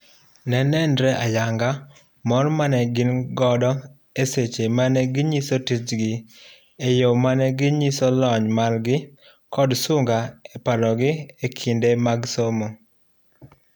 Ne nenre ayanga mor mane gin godo eseche mane ginyiso tijgi eyo mane nyiso lony margi kod sunga eparogi ekinde somo.